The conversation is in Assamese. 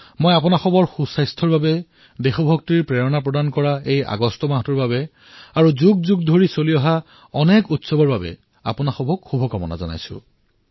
মই আপোনালোক সকলোৰে উত্তম স্বাস্থ্যৰ বাবে দেশ ভক্তিৰ প্ৰেৰণা জাগ্ৰত কৰিবলৈ আগষ্ট মাহৰ বাবে আৰু শতিকাজুৰি চলি অহা অনেক উৎসৱৰ বাবে অনেক শুভকামনা জনাইছোঁ